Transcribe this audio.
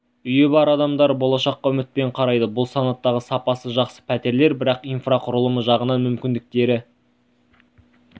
үйі бар адамдар болашаққа үмітпен қарайды бұл санаттағы сапасы жақсы птерлер бірақ инфрақұрылымы жағынан мүмкіндіктері